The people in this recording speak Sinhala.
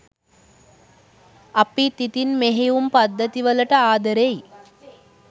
අපිත් ඉතින් මෙහෙයුම් පද්ධති වලට ආදරෙයි